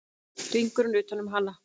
Hringurinn utan um hana.